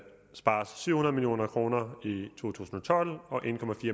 spares syv hundrede million kroner i to tusind og tolv og en